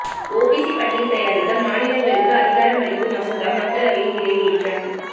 OBC பட்டியல் தயாரிக்க மாநிலங்களுக்கு அதிகாரம் அளிக்கும் மசோதா மக்களவையில் நிறைவேற்றம்